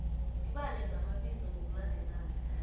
ibale ngamabizo ngokulandelana